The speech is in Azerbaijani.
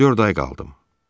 Dörd ay qaldım.